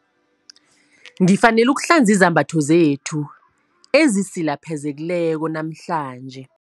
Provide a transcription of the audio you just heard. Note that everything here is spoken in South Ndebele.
Ngifanele ukuhlanza izembatho zethu ezisilapheleko namhlanje.